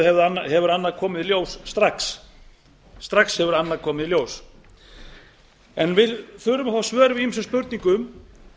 að sjálfsögðu hefur annað komið í ljós strax við þurfum að fá svör við ýmsum spurningum